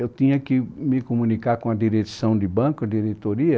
Eu tinha que me comunicar com a direção do banco, a diretoria,